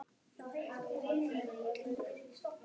Var þetta bara eitt skipti, eða.